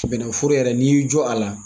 Bɛnɛforo yɛrɛ n'i y'i jɔ a la.